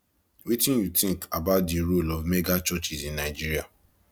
wetin you think about di role of megachurches in nigeria